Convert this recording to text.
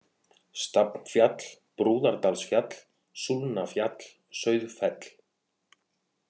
Stafnfjall, Brúðardalsfjall, Súlnafjall, Sauðfell